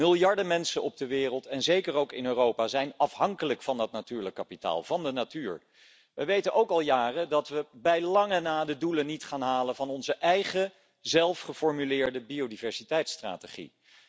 Miljarden mensen op de wereld, en zeker ook in Europa, zijn afhankelijk van dat natuurlijk kapitaal, van de natuur. We weten ook al jaren dat we bij lange na de doelen niet gaan halen van onze eigen zelf geformuleerde biodiversiteitstrategie.